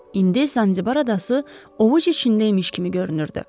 İndi Zanzibar adası ovuc içindəymiş kimi görünürdü.